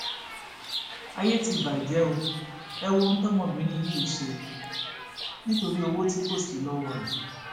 ayé ti bàjẹ o ẹ wo ohun tọmọbìnrin yìí ṣe nítorí owó tí kò sí lọwọ rẹ